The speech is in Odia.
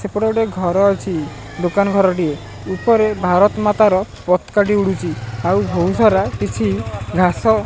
ସେପଟେ ଗୋଟେ ଘର ଅଛି ଦୋକାନ ଘରଟିଏ ଉପରେ ଭାରତ ମାତାର ପତକା ଟିଏ ଉଡୁଚି ଆଉ ବହୁତ ସାରା କିଛି ଘାସ --